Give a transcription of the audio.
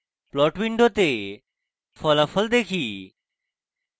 plot window ফলাফল দেখি